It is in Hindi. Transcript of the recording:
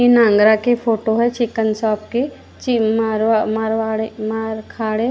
इन आगरा की फोटो है चिकन शॉप की चिकन शॉप ।